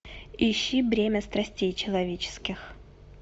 ищи бремя страстей человеческих